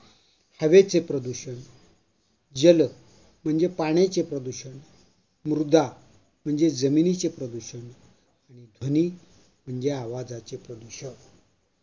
हवेचे प्रदूषण, जल म्हणजे पाण्याचे प्रदूषण, मृदा म्हणजे जमिनीचे प्रदूषण, ध्वनि म्हणजे आवाजाचे प्रदूषण.